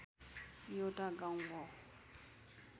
एउटा गाउँ हो